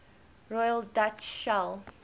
royal dutch shell